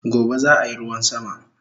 Gobe zaa yi ruwan sama